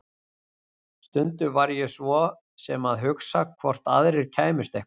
Stundum var ég svo sem að hugsa hvort aðrir kæmust eitthvað.